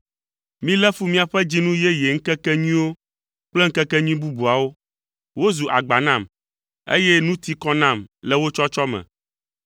Melé fu miaƒe dzinu yeye ŋkekenyuiwo kple ŋkekenyui bubuawo. Wozu agba nam, eye nu ti kɔ nam le wo tsɔtsɔ me.